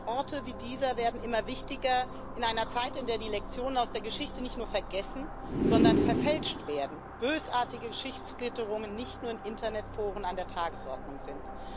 Orte wie dieser werden immer wichtiger in einer Zeit, in der die Lektionen aus der Geschichte nicht nur vergessen, sondern verfälscht werden und bösartige Geschichtsklitterungen nicht nur in Internetforen an der Tagesordnung sind.